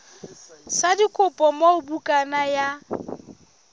sa dikopo moo bukana ya